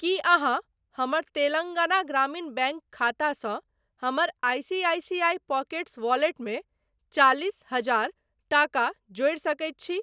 की अहाँ हमर तेलंगाना ग्रामीण बैंक खातासँ हमर आईसीआईसीआई पॉकेट्स वॉलेटमे चालिस हजार टाका जोड़ि सकैत छी ?